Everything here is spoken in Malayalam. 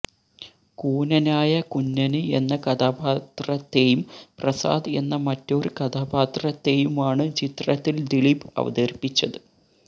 കൂനനായ കുഞ്ഞന് എന്ന കഥാപാത്രത്തെയും പ്രസാദ് എന്ന മറ്റൊരു കഥാപാത്രത്തെയുമാണ് ചിത്രത്തില് ദിലീപ് അവതരിപ്പിച്ചത്